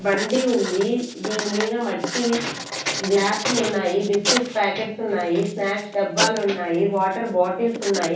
బండి ఉంది దీని మీద మట్టివి గ్లాసులున్నాయి బిస్కెట్స్ ప్యాకెట్స్ ఉన్నాయి స్నాక్స్ డబ్బాలున్నాయి వాటర్ బాటిల్సున్నాయి .